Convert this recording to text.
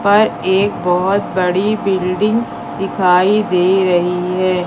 पर एक बहोत बड़ी बिल्डिंग दिखाई दे रही है।